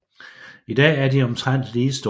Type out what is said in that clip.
I dag er de omtrent lige store